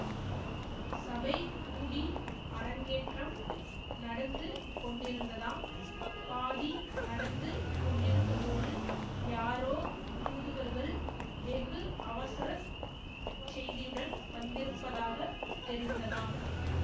சபை கூடி அரங்கேற்றம் நடந்து கொண்டிருந்ததாம் பாதி நடந்து கொண்டிருந்தபோது யாரோ தூதுவர்கள் வெகு அவசர செய்தியுடன் வந்திருப்பதாகத் தெரிந்ததாம்